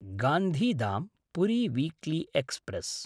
गान्धिधाम्–पुरी weekly express